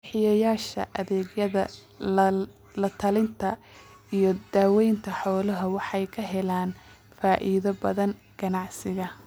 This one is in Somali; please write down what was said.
Bixiyeyaasha adeegyada la-talinta iyo daaweynta xoolaha waxay ka helaan faa'iido badan ganacsiga.